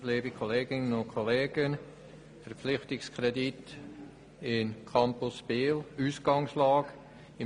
der BaK. Verpflichtungskredit für den Campus Biel: Was ist die Ausgangslage?